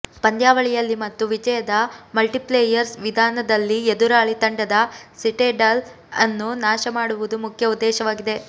ಪಂದ್ಯಾವಳಿಯಲ್ಲಿ ಮತ್ತು ವಿಜಯದ ಮಲ್ಟಿಪ್ಲೇಯರ್ ವಿಧಾನದಲ್ಲಿ ಎದುರಾಳಿ ತಂಡದ ಸಿಟಾಡೆಲ್ ಅನ್ನು ನಾಶ ಮಾಡುವುದು ಮುಖ್ಯ ಉದ್ದೇಶವಾಗಿದೆ